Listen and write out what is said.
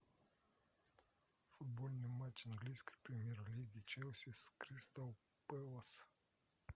футбольный матч английской премьер лиги челси с кристал пэлас